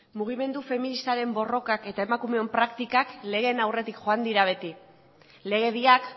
mugimendu feministaren borrokak eta emakumeon praktikak legeen aurretik joan dira beti legediak